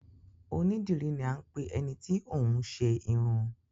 Onídìrí ni à n pẹ ẹni tí óún ṣe irun